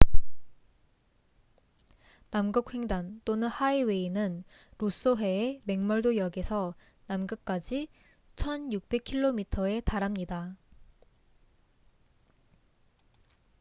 남극 횡단또는 하이웨이은 로쏘해의 맥멀도 역에서 남극까지 1600킬로미터에 달합니다